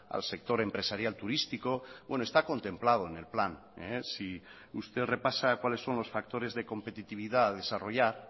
al sector empresarial turístico está contemplado en el plan si usted repasa cuáles son los factores de competitividad a desarrollar